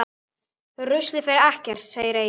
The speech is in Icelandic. Ruslið fer ekkert, segir Egill.